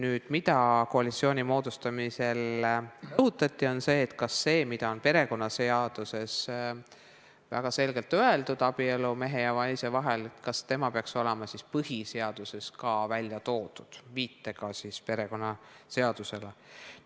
See, mida koalitsiooni moodustamisel rõhutati, oli järgmine: kas see, mida perekonnaseaduses on väga selgelt öeldud – abielu on mehe ja naise vahel –, peaks olema ka põhiseaduses välja toodud, viitega perekonnaseadusele?